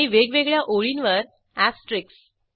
आणि वेगवेगळ्या ओळींवर अॅस्टेरिक्स